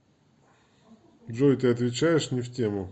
джой ты отвечаешь не в тему